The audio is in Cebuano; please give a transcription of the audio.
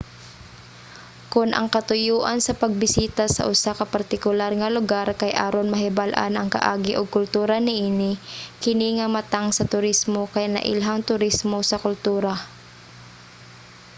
kon ang katuyoan sa pagbisita sa usa ka partikular nga lugar kay aron mahibal-an ang kaagi ug kultura niini kini nga matang sa turismo kay nailhang turismo sa kultura